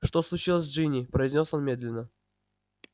что случилось с джинни произнёс он медленно